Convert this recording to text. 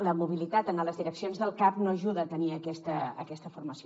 la mobilitat en les direccions del cap no ajuda a tenir aquesta formació